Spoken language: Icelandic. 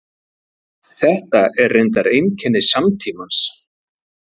Þetta er reyndar einkenni samtímans.